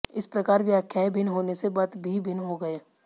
इस प्रकार व्याख्याएं भिन्न होने से मत भी भिन्न हो गये